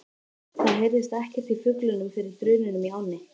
Það heyrðist ekkert í fuglunum fyrir drununum í ánni.